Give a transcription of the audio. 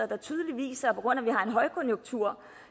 der tydeligt viser at på grund af at vi har en højkonjunktur